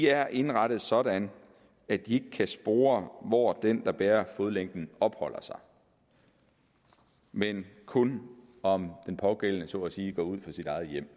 er indrettet sådan at de ikke kan spore hvor den der bærer fodlænken opholder sig men kun om den pågældende person så at sige går ud af sit eget hjem